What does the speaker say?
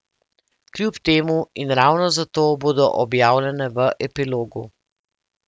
Kljub temu in ravno zato bodo objavljene v Epilogu.